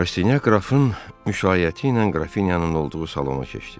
Rastinyak qrafın müşayiəti ilə qrafinyanın olduğu salona keçdi.